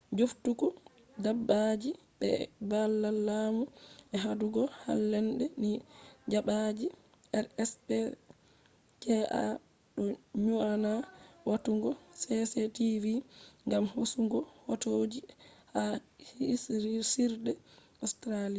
jooftuki dabbaji be e babal laamu je hadugo hallende ni dabbaji rspca doo nyonaa watugo cctv gam hosugo hotoji ha hirsirde australian